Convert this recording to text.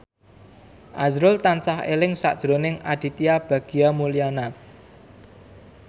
azrul tansah eling sakjroning Aditya Bagja Mulyana